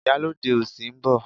Ìyálóde òsì ń bọ̀.